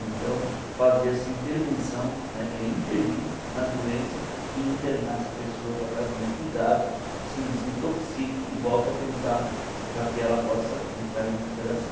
Então, fazer essa intervenção, né que é intervir na doença e internar essa pessoa para que ela tenha cuidados, se desintoxique e volte a pensar para que ela possa entrar em recuperação.